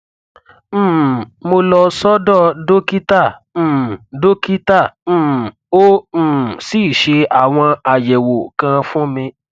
um mo lọ sọdọ dókítà um dókítà um ó um sì ṣe àwọn àyẹwò kan fún mi